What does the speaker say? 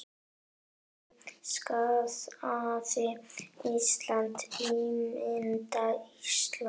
Lillý: Skaðað Ísland, ímynd Íslands?